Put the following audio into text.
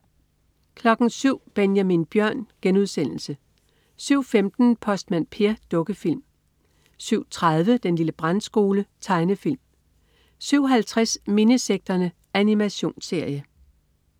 07.00 Benjamin Bjørn* 07.15 Postmand Per. Dukkefilm 07.30 Den lille brandskole. Tegnefilm 07.50 Minisekterne. Animationsserie